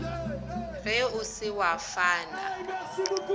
ge o se wa fana